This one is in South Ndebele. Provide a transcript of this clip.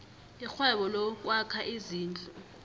irhwebo lokwakha izindlu